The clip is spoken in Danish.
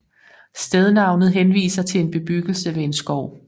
Stednavnet henviser til en bebyggelse ved en skov